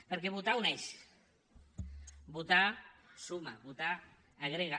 perquè votar uneix votar suma votar agrega